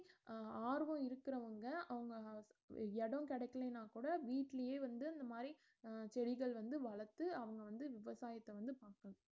அஹ் ஆர்வம் இருக்கறவங்க அவங்க இடம் கிடைக்கலன்னா கூட வீட்டுலயே வந்து அந்த மாதிரி அஹ் செடிகள் வந்து வளர்த்து அவுங்க வந்து விவசாயத்த வந்து பார்க்கனும்